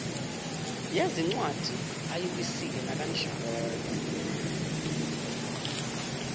yezincwadi ayiwisile nakanjani